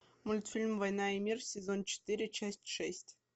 мультфильм война и мир сезон четыре часть шесть